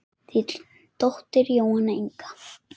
Þín dóttir Jóhanna Inga.